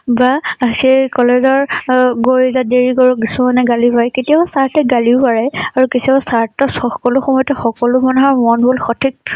বা সেই কলেজৰঅগৈ যে দেৰি কৰোঁ কিছুমানে গালি পাৰে কেতিয়াবা চাৰ সতে গালিও পাৰে আৰু কেতিয়াবা স্বাৰ্থত সব সকলো সময়তে সকলো মানুহৰ মন বোৰ সঠিক